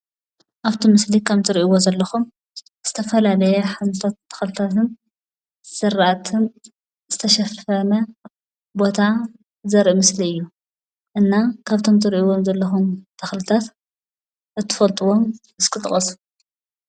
ኣብቲ ምስል ከም ትርእይዎ ዘለኩም ዝተፈላላየ ሓይሊ ተክሊታትን ዝራእትን ዝተሸፈነ ቦታ ዝርኢ ምስሊ እዩ። እና ካብቶም ትርእይዎ ዘለኩም ተክሊታት እትፈልጥዎም እስኪ ጥቀሱ?